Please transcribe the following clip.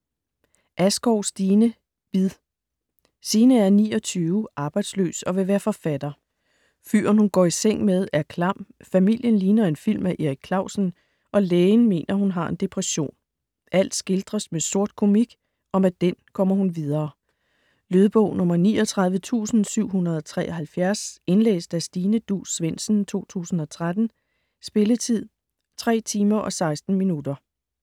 Askov, Stine: Bid Signe er 29, arbejdsløs og vil være forfatter. Fyren, hun går i seng med, er klam; familien ligner en film af Erik Clausen; og lægen mener, hun har en depression. Alt skildres med sortkomik, og med den kommer hun videre. Lydbog 39773 Indlæst af Stine Duus Svendsen, 2013. Spilletid: 3 timer, 16 minutter.